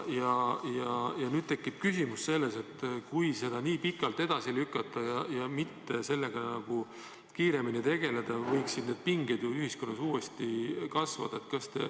Ja nüüd tekib küsimus, et kui seda nii pikalt edasi lükata ja sellega mitte kiiremini tegeleda, võivad need pinged ühiskonnas uuesti kasvada.